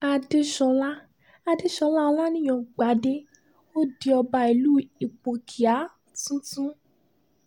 àdèsọlá àdèsọlá olanìyàn gbadé ó di ọba ìlú ipòkíà tuntun